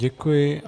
Děkuji.